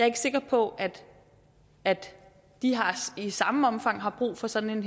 ikke sikker på at de i samme omfang har brug for sådan en